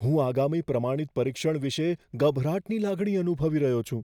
હું આગામી પ્રમાણિત પરીક્ષણ વિશે ગભરાટની લાગણી અનુભવી રહ્યો છું.